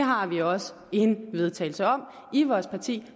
har vi også en vedtagelse om i vores parti